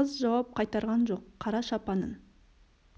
қыз жауап қайтарған жоқ қара шапанын